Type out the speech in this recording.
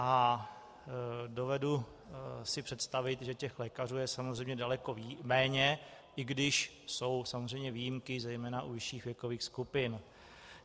A dovedu si představit, že těch lékařů je samozřejmě daleko méně, i když jsou samozřejmě výjimky, zejména u vyšších věkových skupin.